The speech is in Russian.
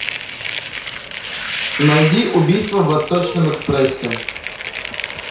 найди убийство в восточном экспрессе